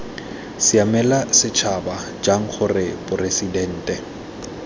siamela setšhaba jang gore poresitente